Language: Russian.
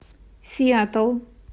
сиэтл